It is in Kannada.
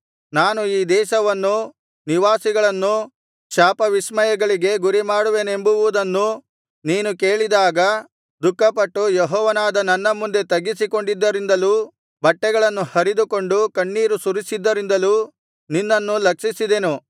ನಾನು ಈ ದೇಶವನ್ನೂ ನಿವಾಸಿಗಳನ್ನೂ ಶಾಪವಿಸ್ಮಯಗಳಿಗೆ ಗುರಿಮಾಡುವೆನೆಂಬುವುದನ್ನು ನೀನು ಕೇಳಿದಾಗ ದುಃಖಪಟ್ಟು ಯೆಹೋವನಾದ ನನ್ನ ಮುಂದೆ ತಗ್ಗಿಸಿಕೊಂಡಿದ್ದರಿಂದಲೂ ಬಟ್ಟೆಗಳನ್ನು ಹರಿದುಕೊಂಡು ಕಣ್ಣೀರು ಸುರಿಸಿದ್ದರಿಂದಲೂ ನಿನ್ನನ್ನು ಲಕ್ಷಿಸಿದೆನು